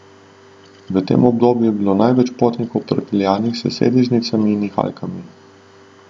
V tem obdobju je bilo največ potnikov prepeljanih s sedežnicami in nihalkami.